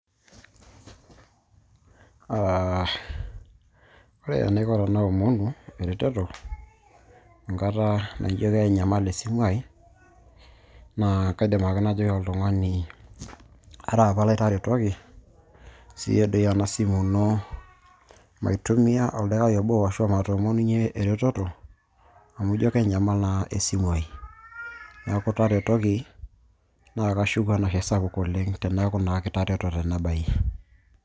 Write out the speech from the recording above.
Ah ore enaiko tenaomonu ereteto enkata naijo kenyamal esimu ai, naa kaidim ake najoki oltung'ani, araapa lai taretuoki siyie doi ena simu ino, maitumia oldaikai obo, ashu matoomonunye ereteto, amu jo kenyamal naa esimu ai. Neeku taretoki, naa kashuku enashe sapuk oleng' teneeku naa kitareto tena bae.